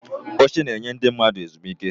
Oche na-enye ndị mmadụ ezumike.